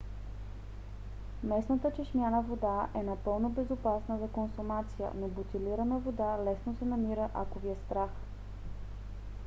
местната чешмяна вода е напълно безопасна за консумация но бутилирана вода лесно се намира ако ви е страх